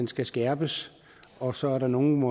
skal skærpes og så er der nogle